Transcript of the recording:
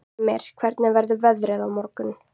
Ymir, hvernig verður veðrið á morgun?